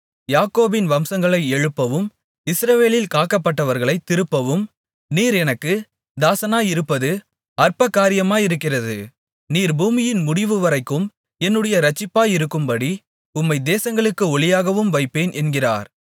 யாக்கோபின் வம்சங்களை எழுப்பவும் இஸ்ரவேலில் காக்கப்பட்டவர்களைத் திருப்பவும் நீர் எனக்குத் தாசனாயிருப்பது அற்பகாரியமாயிருக்கிறது நீர் பூமியின் முடிவுவரைக்கும் என்னுடைய இரட்சிப்பாயிருக்கும்படி உம்மை தேசங்களுக்கு ஒளியாகவும் வைப்பேன் என்கிறார்